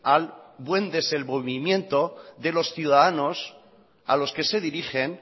al buen desenvolvimiento de los ciudadanos a los que se dirigen